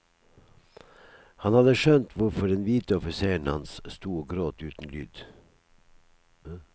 Han hadde skjønt hvorfor den hvite offiseren hans sto og gråt uten lyd.